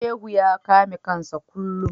Shehu ya kame kansa kullum.